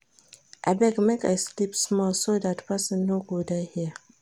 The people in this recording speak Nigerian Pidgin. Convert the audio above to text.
Abeg make I sleep small so dat person no go die here